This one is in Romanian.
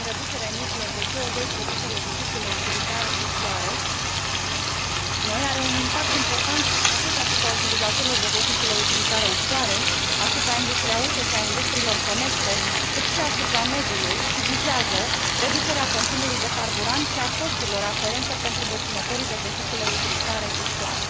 privind reducerea emisiilor de CO produse de vehiculele utilitare ușoare noi are un impact important atât asupra utilizatorilor de vehicule utilitare ușoare, asupra industriei auto și a industriilor conexe, cât și asupra mediului și vizează reducerea consumului de carburant și a costurilor aferente pentru deținătorii de vehicule utilitare ușoare.